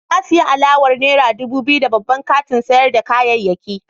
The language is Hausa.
Na sayi alawar naira dubu biyu a babban kantin sayar da kayayyaki.